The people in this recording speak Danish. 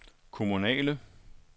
kommunale